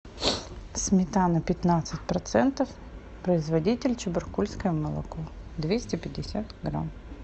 сметана пятнадцать процентов производитель чебаркульское молоко двести пятьдесят грамм